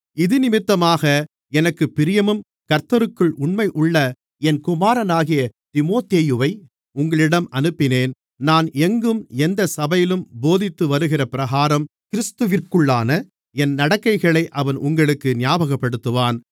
இதினிமித்தமாக எனக்குப் பிரியமும் கர்த்தருக்குள் உண்மையுமுள்ள என் குமாரனாகிய தீமோத்தேயுவை உங்களிடம் அனுப்பினேன் நான் எங்கும் எந்தச் சபையிலும் போதித்துவருகிற பிரகாரம் கிறிஸ்துவிற்குள்ளான என் நடக்கைகளை அவன் உங்களுக்கு ஞாபகப்படுத்துவான்